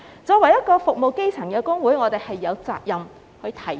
作為服務基層的工會，我們有責任提出。